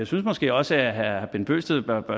synes måske også at herre bent bøgsted bør